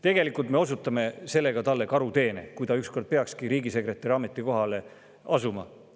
Tegelikult me osutame sellega talle karuteene, kui ta ükskord peakski riigisekretäri ametikohale asuma.